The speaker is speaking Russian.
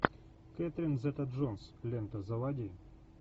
кэтрин зета джонс лента заводи